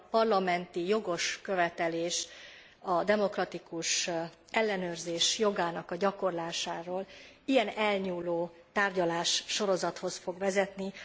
Ez a parlamenti jogos követelés a demokratikus ellenőrzés jogának a gyakorlásáról elnyúló tárgyalássorozathoz fog vezetni.